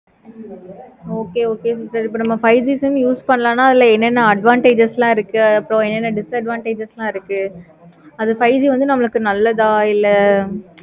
okay okay sister இப்ப நம்ம five G use பண்ணோம்னா அதுல என்ன என்ன advantages லாம் இருக்கு. disadvantages லாம் இருக்கு. அது five G நமக்கு நல்லதா என்ன